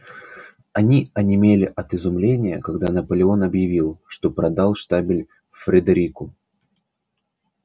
они онемели от изумления когда наполеон объявил что продал штабель фредерику